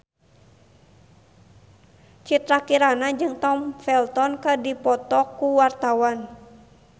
Citra Kirana jeung Tom Felton keur dipoto ku wartawan